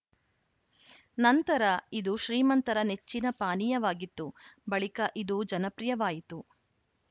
ನಂತರ ಇದು ಶ್ರೀಮಂತರ ನೆಚ್ಚಿನ ಪಾನೀಯವಾಗಿತ್ತು ಬಳಿಕ ಇದು ಜನಪ್ರಿಯವಾಯಿತು